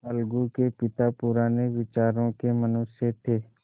अलगू के पिता पुराने विचारों के मनुष्य थे